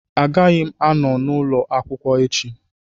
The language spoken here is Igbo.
Agaghị m anọ n'ụlọ akwụkwọ echi